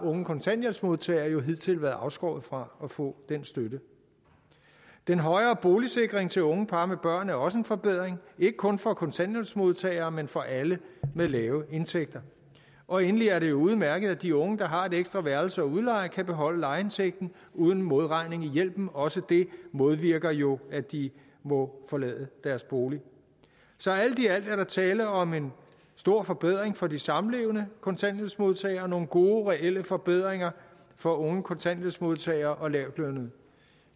unge kontanthjælpsmodtagere har jo hidtil været afskåret fra at få den støtte den højere boligsikring til unge par med børn er også en forbedring ikke kun for kontanthjælpsmodtagere men for alle med lave indtægter og endelig er det jo udmærket at de unge der har et ekstra værelse at udleje kan beholde lejeindtægten uden modregning i hjælpen også det modvirker jo at de må forlade deres bolig så alt i alt er der tale om en stor forbedring for de samlevende kontanthjælpsmodtagere nogle gode reelle forbedringer for unge kontanthjælpsmodtagere og lavtlønnede